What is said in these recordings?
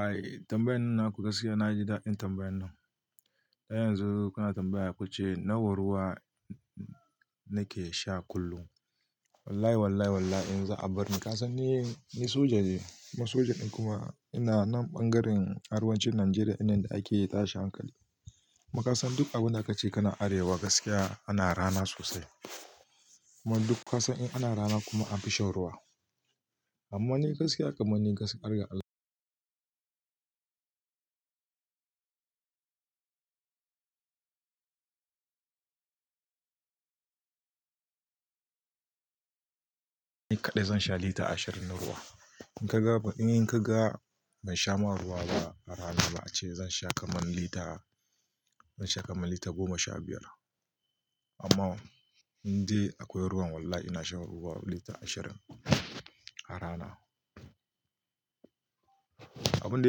Ai tambayoyin nan ka ga gaskiya na ji daɗin tambayoyin nan. Dan yanzu kuna tambaya ku ce nawa ruwa nake sha kullum. Wallahi wallahi wallahi in za a bar ni ka san ni soja ne, soja kuma ina na ɓangaren arewacin Najeriya inda ake tashin hankali. Kuma ka san duk abunda kace kana arewa gaskiya ana rana sosai. Kuma duk ka san in ana rana kuma an fi shan ruwa. Amma ni gaskiya kamar ni gaskiya ga Allah ni kaɗai zan sha lita ashirin na ruwa. In kaga ni kaga ban sha ma ruwa ba a rana ma ace zan sha kamar lita, zan sha kamar lita goma sha biyar. Amma in dai akwai ruwan wallahi ina shan ruwa lita ashirin a rana. Abunda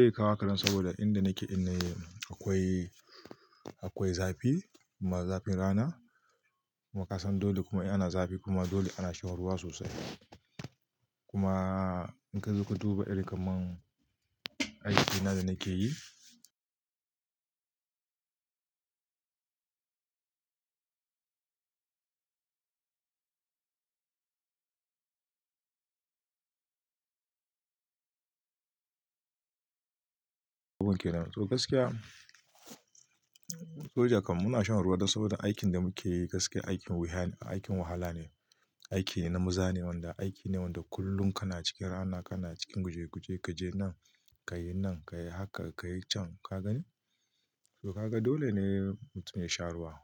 yakawo haka dan saboda inda nake din ne akwai, akwai zafi kuma zafin rana. Kuma ka san dole kuma ana zafi kuma dole ana shan ruwa sosai. Kuma in kazo ka duba irin kaman irin aikina da nake yi abun ke nan. To gaskiya soja kam muna shan ruwa dan saboda aikin da muke yi gaskiya aikin wuya ne, aikin wahala ne, aiki ne na maza ne wanda aiki ne wanda kullum kana cikin rana, kana cikin guje guje kaje nan, kayi nan, kayi haka kayi can ka gani. To ka ga dole ne mutum ya sha ruwa.